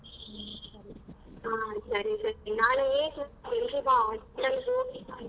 ಹಾ ಸರಿ ಸರಿ ನಾಳೆ ಬೆಳಿಗ್ಗೆ ಬಾ hospital ಹೋಗಿ .